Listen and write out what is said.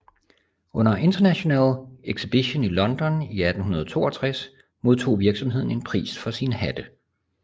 Under International Exhibition i London i 1862 modtog virksomheden en pris for sine hatte